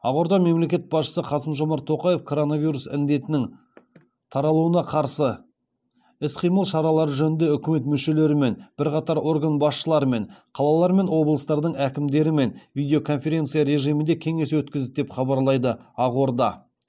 ақорда мемлекет басшысы қасым жомарт тоқаев коронавирус індетінің таралуына қарсы іс қимыл шаралары жөнінде үкімет мүшелерімен бірқатар орган басшыларымен қалалар мен облыстардың әкімдерімен видеоконференция режимінде кеңес өткізді деп хабарлайды ақорда